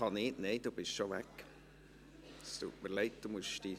Kann ich noch etwas sagen?